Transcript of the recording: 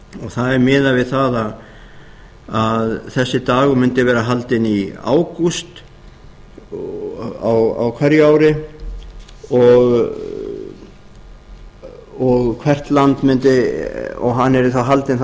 það er miðað við að þessi dagur mundi vera haldinn í ágúst á hverju ári og hann yrði haldinn